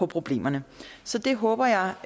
problemerne så det håber jeg